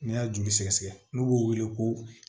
N'a y'a joli sɛgɛsɛgɛ n'u b'o wele ko